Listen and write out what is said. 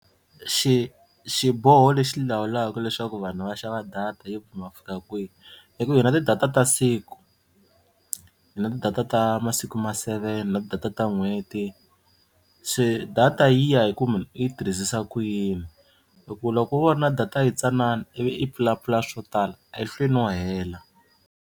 Xi xiboho lexi lawulaka leswaku vanhu va xava data yo pimiwa ku fika kwihi i ku hi na ti-data ta siku, hi na ti-data ta masiku ma seven, hi na ti-data ta n'hweti se data yi ya hi munhu i yi tirhisisa ku yini hi ku loko wo va na data yi tsanana ivi i pfulapfula swi swo tala a yi hlweli no hela.